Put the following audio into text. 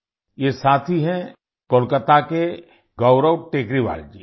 ये साथी हैं कोलकाता के गौरव टेकरीवाल जी